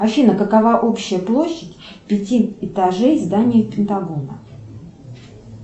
афина какова общая площадь пяти этажей здания пентагона